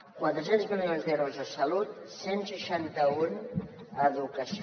quatre cents milions d’euros a salut cent i seixanta un a educació